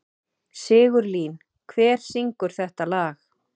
Sigurlín, hver syngur þetta lag?